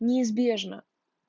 неизбежно